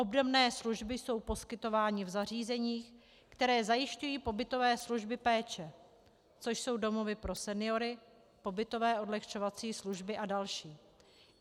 Obdobné služby jsou poskytovány v zařízeních, která zajišťují pobytové služby péče, což jsou domovy pro seniory, pobytové odlehčovací služby a další.